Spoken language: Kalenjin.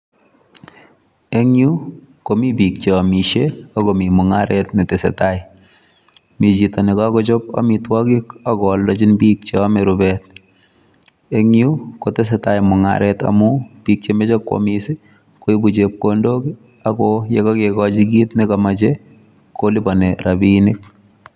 En yu komi biik che omishe ak komi mung'aret netesetai. Mi chito ne kogochob ago oldejin biik cheome rubet en yu kotesetai mung'aret amun biik chemoche koamis koibu chepkondok ago ye kogigochi kit nekomoche kolipani rabinik.